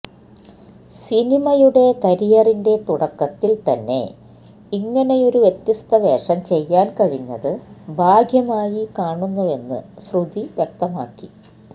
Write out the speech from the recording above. സിനിമയുടെ കരിയറിന്റെ തുടക്കത്തില് തന്നെ ഇങ്ങനെയൊരു വ്യത്യസ്ത വേഷം ചെയ്യാന് കഴിഞ്ഞത് ഭാഗ്യമായി കാണുന്നുവെന്ന് ശ്രുതി വ്യക്തമാക്കി